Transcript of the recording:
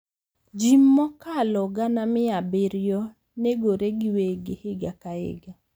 Ji mokalo gana mia abiriyo negore giwegi higa ka higa.